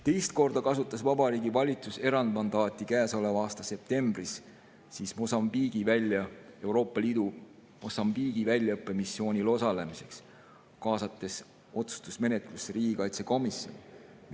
Teist korda kasutas Vabariigi Valitsus erandmandaati käesoleva aasta septembris Euroopa Liidu Mosambiigi väljaõppemissioonil osalemiseks, kaasates otsustusmenetlusse riigikaitsekomisjoni.